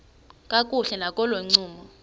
kakuhle nakolo ncumo